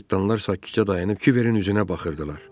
Cırtdanlar sakitcə dayanıb Kiberin üzünə baxırdılar.